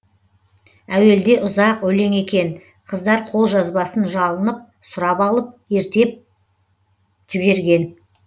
әуелде ұзақ өлең екен қыздар қолжазбасын жалынып сұрапалып ертеп жіберген